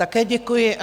Také děkuji.